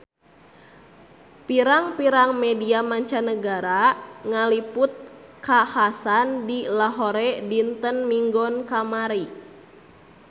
Pirang-pirang media mancanagara ngaliput kakhasan di Lahore dinten Minggon kamari